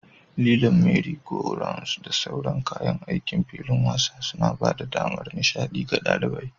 Lilon, merry-go-rounds, da sauran kayan aikin filin wasa suna ba da damar nishaɗi ga ɗalibai.